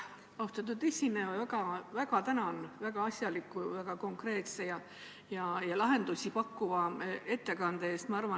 Austatud esineja, ma väga tänan väga asjaliku, väga konkreetse ja lahendusi pakkuva ettekande eest!